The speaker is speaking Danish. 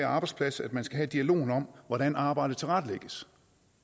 arbejdsplads man skal have dialogen om hvordan arbejdet tilrettelægges